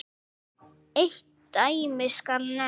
Eitt dæmi skal nefnt.